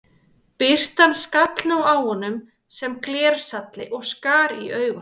Birtan skall nú á honum sem glersalli og skar í augu.